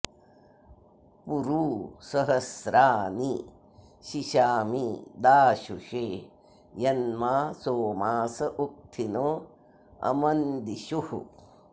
पुरू सहस्रा नि शिशामि दाशुषे यन्मा सोमास उक्थिनो अमन्दिषुः